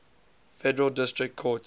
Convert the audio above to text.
federal district courts